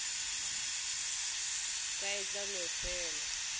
ka e tla no fela